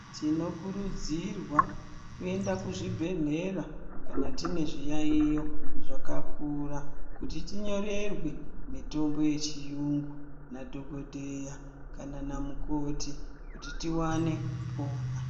Tinokurudzirwa kuenda kuzvibhehlera kana tinezviyaiyo zvakakura ,kuti tinyorerwe mitombo yechirungu nadhogodheya kana namukoti kuti tiwane kupora.